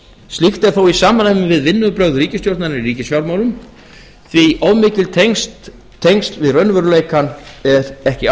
slíkt er þó í samræmi við vinnubrögð ríkisstjórnarinnar í ríkisfjármálum því of mikil tengsl við raunveruleikann er ekki